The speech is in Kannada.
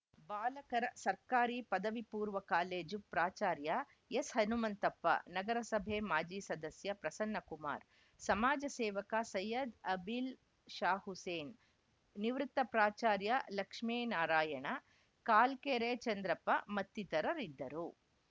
ಬಾಲಕರ ಸರ್ಕಾರಿ ಪದವಿಪೂರ್ವ ಕಾಲೇಜು ಪ್ರಾಚಾರ್ಯ ಎಸ್‌ಹನುಮಂತಪ್ಪ ನಗರಸಭೆ ಮಾಜಿ ಸದಸ್ಯ ಪ್ರಸನ್ನಕುಮಾರ್‌ ಸಮಾಜ ಸೇವಕ ಸೈಯದ್‌ ಅಬಿಲ್‌ ಷಾಹುಸೇನ್‌ ನಿವೃತ್ತ ಪ್ರಾಚಾರ್ಯ ಲಕ್ಷ್ಮೇನಾರಾಯಣ ಕಾಲ್ಕೆರೆ ಚಂದ್ರಪ್ಪ ಮತ್ತಿತರರಿದ್ದರು